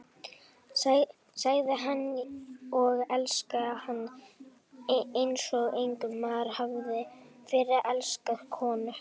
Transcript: Sagði það og elskaði hana eins og enginn maður hafði fyrr elskað konu.